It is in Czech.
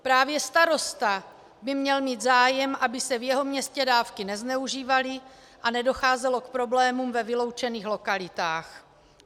Právě starosta by měl mít zájem, aby se v jeho městě dávky nezneužívaly a nedocházelo k problémům ve vyloučených lokalitách.